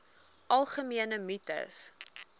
algemene mites